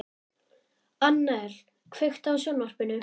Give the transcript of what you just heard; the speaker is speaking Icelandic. Annel, kveiktu á sjónvarpinu.